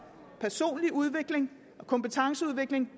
personlig udvikling og kompetenceudvikling